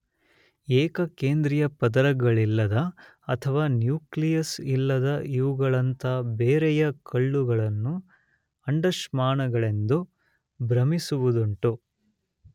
ಏಕಕೇಂದ್ರೀಯಪದರಗಳಿಲ್ಲದ ಅಥವಾ ನ್ಯೂಕ್ಲಿಯಸ್ ಇಲ್ಲದ ಇವುಗಳಂಥ ಬೇರೆಯ ಕಲ್ಲುಗಳನ್ನು ಅಂಡಾಶ್ಮಗಳೆಂದು ಭ್ರಮಿಸುವುದುಂಟು.